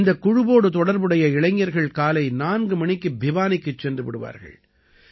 இந்தக் குழுவோடு தொடர்புடைய இளைஞர்கள் காலை 4 மணிக்கு பிவானிக்குச் சென்று விடுவார்கள்